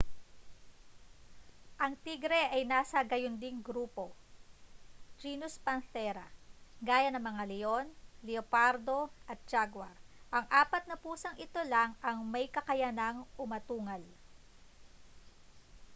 ang tigre ay nasa gayunding grupo genus panthera gaya ng mga leon leopardo at jaguar. ang apat na pusang ito lang ang may kakayanang umatungal